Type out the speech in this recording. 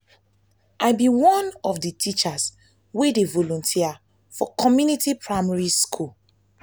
i be one of the teachers wey dey volunteer for my community primary school.